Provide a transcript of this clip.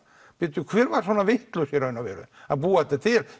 bíddu hver var svona vitlaus í raun og veru að búa þetta til